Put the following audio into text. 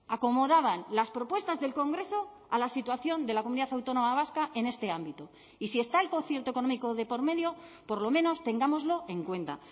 acomodaban las propuestas del congreso a la situación de la comunidad autónoma vasca en este ámbito y si está el concierto económico de por medio por lo menos tengámoslo en cuenta